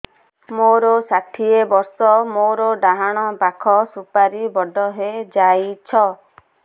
ମୋର ଷାଠିଏ ବର୍ଷ ମୋର ଡାହାଣ ପାଖ ସୁପାରୀ ବଡ ହୈ ଯାଇଛ